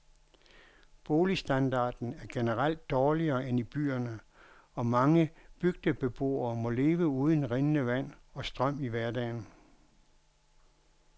Boligstandarden er generelt dårligere end i byerne, og mange bygdebeboere må leve uden rindende vand og strøm i hverdagen.